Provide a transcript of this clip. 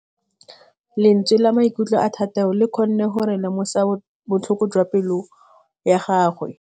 Lentswe la maikutlo a Thategô le kgonne gore re lemosa botlhoko jwa pelô ya gagwe.